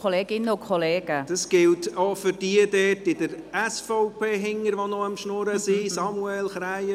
Das gilt auch für diejenigen bei der SVP, die sich noch unterhalten.